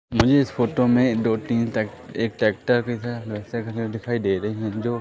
मुझे इस फोटो में दो तीन टॅक एक टॅक्टर दिखा जो अच्छा खासा दिखाई दे रही है जो--